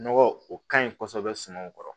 Nɔgɔ o kaɲi kɔsɛbɛ sumanw kɔrɔ